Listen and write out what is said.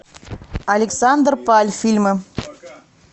александр паль фильмы